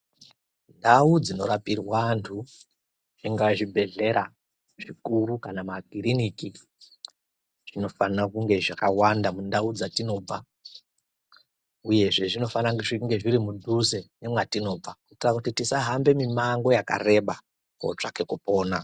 Ndau dzinorapirwa antu zvingaa zvibhedhlera zvikuru kana makiriniki zvinofana kunge zvakawanda mundau dzatinobva. Uyezve zvinofana kunge zviripadhuze nemwatinobva kuitira kuti tisahambe mumango yakareba kootsvake kupona.